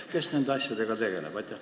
Kes nende asjadega tegeleb?